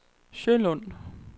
Sjølund